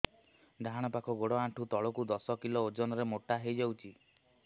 ଡାହାଣ ପାଖ ଗୋଡ଼ ଆଣ୍ଠୁ ତଳକୁ ଦଶ କିଲ ଓଜନ ର ମୋଟା ହେଇଯାଇଛି